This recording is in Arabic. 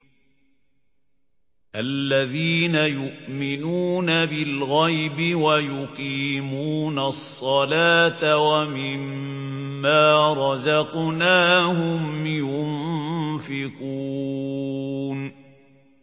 الَّذِينَ يُؤْمِنُونَ بِالْغَيْبِ وَيُقِيمُونَ الصَّلَاةَ وَمِمَّا رَزَقْنَاهُمْ يُنفِقُونَ